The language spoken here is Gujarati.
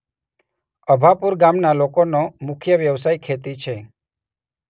અભાપુર ગામના લોકોનો મુખ્ય વ્યવસાય ખેતી છે.